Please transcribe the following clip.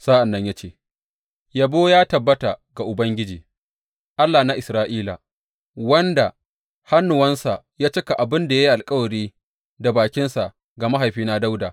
Sa’an nan ya ce, Yabo ya tabbata ga Ubangiji, Allah na Isra’ila, wanda da hannuwansa ya cika abin da ya yi alkawari da bakinsa ga mahaifina Dawuda.